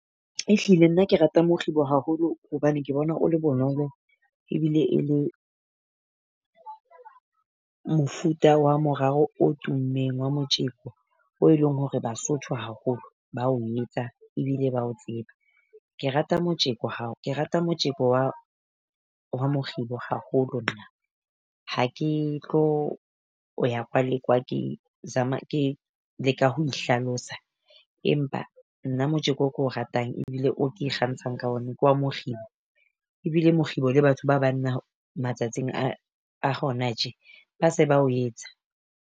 Ehlile nna ke rata mokgibo haholo hobane ke bona o le bonolo, ebile e le mofuta wa morao o tummeng wa motjeko o e leng hore Basotho haholo ba o etsa ebile ba o tseba. Ke rata motjeko ha ke rata motjeko wa wa mokgibo haholo nna. Ha ke tlo o ya kwa, le kwa ke zama ke leka ho ihlalosa. Empa nna motjeko o keo ratang ebile o ke ikgantshang ka ona ke wa mokgibo. Ebile mokgibo le batho ba banna matsatsing a a hona tje, ba se ba o etsa.